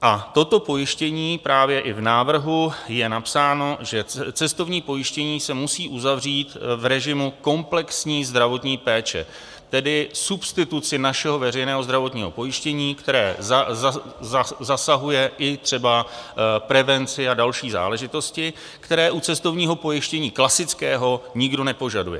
A toto pojištění, právě i v návrhu je napsáno, že cestovní pojištění se musí uzavřít v režimu komplexní zdravotní péče, tedy substituci našeho veřejného zdravotního pojištění, které zasahuje i třeba prevenci a další záležitosti, které u cestovního pojištění klasického nikdo nepožaduje.